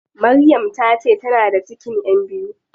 Maryam tace tana da cikin ƴan biyu.